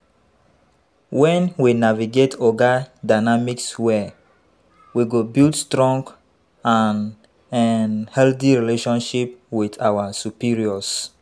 When we navigate oga dynamics well, we go build strong and um relationships with our superiors.